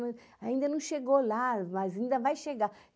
ainda não chegou lá, mas ainda vai chegar.